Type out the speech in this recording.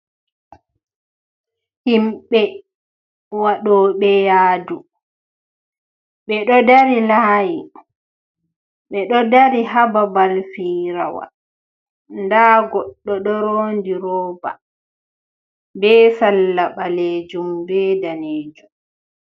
Himbe waɗoɓe yaadu. Ɓe ɗo dari laayi ɓe ɗo dari ha babal firawal nda goɗɗo ɗo rondi rooba, be salla ɓaleejum be daneejum.